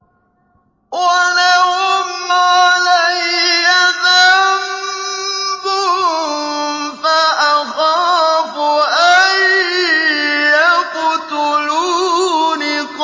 وَلَهُمْ عَلَيَّ ذَنبٌ فَأَخَافُ أَن يَقْتُلُونِ